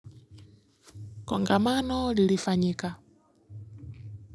Kongamano lilifanyika.